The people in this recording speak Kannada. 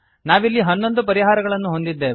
ನಾವಿಲ್ಲಿ ಹನ್ನೊಂದು ಪರಿಹಾರಗಳನ್ನು ಹೊಂದಿದ್ದೇವೆ